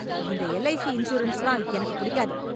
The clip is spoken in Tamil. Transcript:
இந்த எல்ஐசி இன்சூரன்ஸ்ல எனக்கு பிடிக்காது